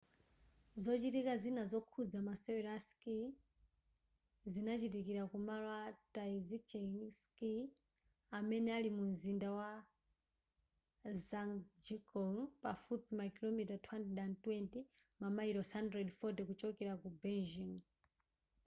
zochitika zina zokhuza masewero a skii zikachitikira ku malo a taizicheng ski amene ali mu mzinda wa zhangjiakou pafupifupi makilomita 220 mamayilosi 140 kuchokera ku beijing